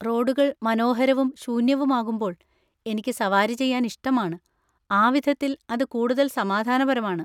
റോഡുകൾ മനോഹരവും ശൂന്യവുമാകുമ്പോൾ എനിക്ക് സവാരി ചെയ്യാൻ ഇഷ്ടമാണ്; ആ വിധത്തിൽ, അത് കൂടുതൽ സമാധാനപരമാണ്.